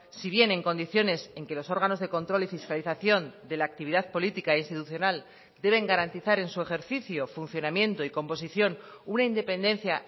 si bien en condiciones en que los órganos de control y fiscalización de la actividad política institucional deben garantizar en su ejercicio funcionamiento y composición una independencia